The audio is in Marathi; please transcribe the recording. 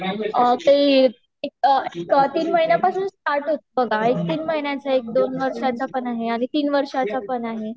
तीन महिन्यापासून START होते बघा एक तीन महीन्याच पण आहे आणि दोन वर्ष च पण आहे. आणि तीन वर्षांचा पण आहे